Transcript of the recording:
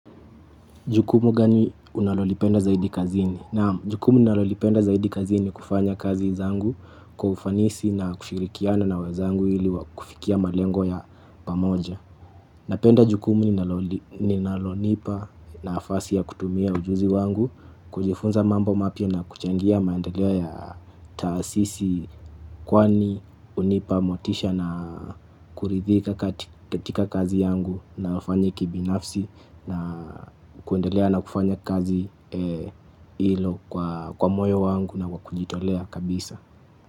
Jukumu gani unalolipenda zaidi kazini? Naam, jukumu nalolipenda zaidi kazini kufanya kazi zangu kwa ufanisi na kushirikiana na wezangu ili kufikia malengo ya pamoja. Napenda jukumu ninalonipa nafasi ya kutumia ujuzi wangu, kujifunza mambo mapia na kuchangia maendeleo ya taasisi kwani unipa motisha na kuridhika katika kazi yangu na ufanyi kibinafsi na kuendelea na kufanya kazi ilo kwa moyo wangu na kujitolea kabisa.